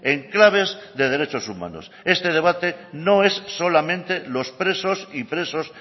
en claves de derechos humanos este debate no es solamente los presos y presos